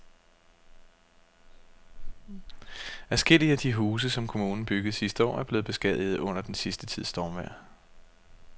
Adskillige af de huse, som kommunen byggede sidste år, er blevet beskadiget under den sidste tids stormvejr.